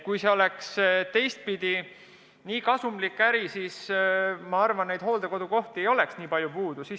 Kui see oleks väga kasumlik äri, siis hooldekodukohti ei oleks nii palju puudu.